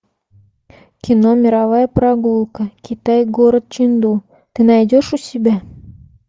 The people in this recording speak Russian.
кино мировая прогулка китай город ченду ты найдешь у себя